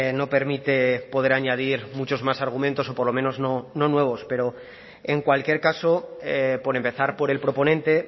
no permite poder añadir muchos más argumentos o por lo menos no nuevos pero en cualquier caso por empezar por el proponente